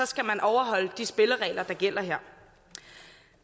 skal man overholde de spilleregler der gælder her